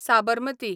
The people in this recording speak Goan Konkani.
साबरमती